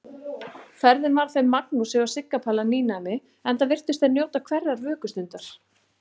Ferðin var þeim Magnúsi og Sigga Palla nýnæmi, enda virtust þeir njóta hverrar vökustundar.